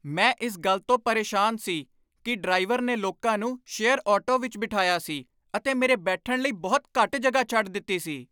ਮੈਂ ਇਸ ਗੱਲ ਤੋਂ ਪਰੇਸ਼ਾਨ ਸੀ ਕਿ ਡਰਾਈਵਰ ਨੇ ਲੋਕਾਂ ਨੂੰ ਸ਼ੇਅਰ ਆਟੋ ਵਿੱਚ ਬਿਠਾਇਆ ਸੀ ਅਤੇ ਮੇਰੇ ਬੈਠਣ ਲਈ ਬਹੁਤ ਘੱਟ ਜਗ੍ਹਾ ਛੱਡ ਦਿੱਤੀ ਸੀ।